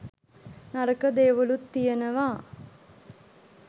නරක දේවලුත් තියනවා.